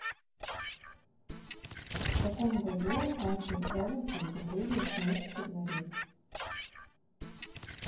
в каком году артур эванс обнаружил кносский дворец